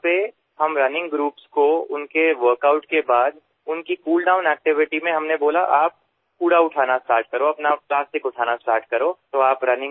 যত আমি ৰাণিং গ্ৰুপক তেওঁলোকৰ ৱৰ্কআউটৰ পিছত তেওঁলোকৰ কুলডাউন কাৰ্যসূচীত কোৱা হল যে আপোনোলাকে জাবৰ উঠোৱা প্লাষ্টিক উঠোৱা আৰম্ভ কৰক